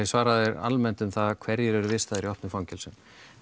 svara þér almennt um það hverjir eru vistaðir í opnum fangelsum